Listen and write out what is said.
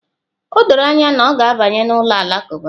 O doro anya na ọ ga-abanye n'ụlọ alakụba